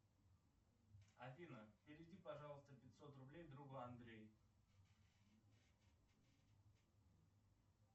афина переведи пожалуйста пятьсот рублей другу андрею